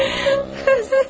Gözlə!